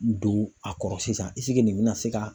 Don a kɔrɔ sisan ɛsike nin be na se ka